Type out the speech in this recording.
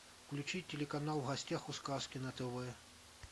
включи телеканал в гостях у сказки на тв